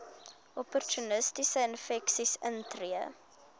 opportunistiese infeksies intree